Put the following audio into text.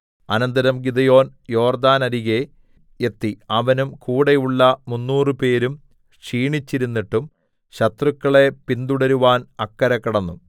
അനന്തരം ഗിദെയോൻ യോർദ്ദാനരികെ എത്തി അവനും കൂടെയുള്ള മുന്നൂറുപേരും ക്ഷീണിച്ചിരുന്നിട്ടും ശത്രുക്കളെ പിന്തുടരുവാൻ അക്കരെ കടന്നു